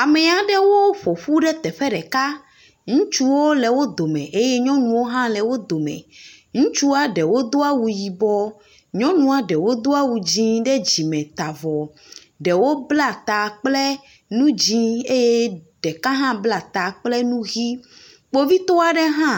Ame aɖewo ƒoƒu ɖe teƒe ɖeka. Ŋutsuwo le wo dome eye nyɔnuwo hã le wo dome. Ŋutsua ɖewo do awu yibɔ. Nyɔnua ɖewo do awu dzɛ̃ ɖe dzime ta avɔ. Ɖewo bla ta kple nu dzɛ̃ eye ɖeka hã bla ta kple nu ʋi. Kpovitɔ aɖe hã